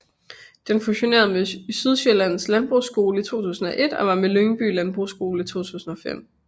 Den fusionerede med Sydsjællands Landbrugsskole i 2001 og med Lyngby Landbrugsskole i 2005